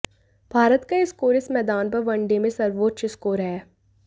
भारत का यह स्कोर इस मैदान पर वनडे में सर्वोच्च स्कोर है